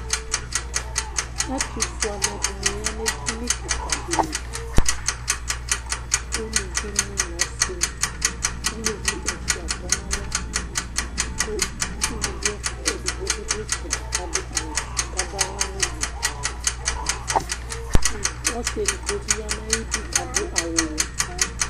Atufue aluɛdini ya nu stɔ̃ kika dì li, uluvi nì n'ɔsi, k' uluvi ɛfua tɔ n'alɔ, ku uluvi edigbo bi dù itsɛdi k'adu awù fué k'adu aɣla n'udu, ku ɔsi edigbo bi ya nu ayi idú k'adu awù wɛ